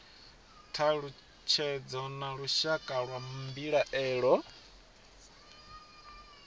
thalutshedzo na lushaka lwa mbilaelo